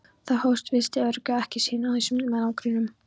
Það fólst visst öryggi ekki síður en einsemd í manngrúanum.